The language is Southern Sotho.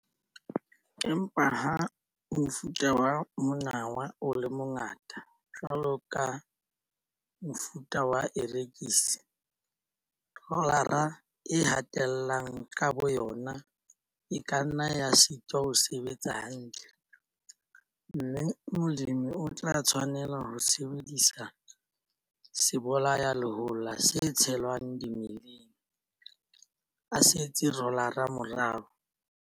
Empa ha mofuta wa monawa o le mongata jwalo ka mofuta wa erekisi vetch le clover, rolara e hatellang ka boyona e ka nna ya sitwa ho sebetsa hantle, mme molemi o tla tshwanela ho sebedisa sebolayalehola se tshelwang dimeleng, a setse rolara morao.